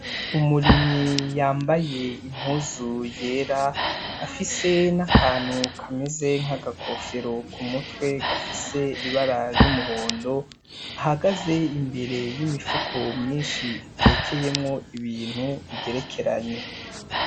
Umurimyi yambaye impuzu yera afise n’akantu kameze nkaga kofero kumutwe gafise ibara ry' umuhondo ahagaze imbere y' imifuko myinshi itekeyemwo ibintu igerekeranye.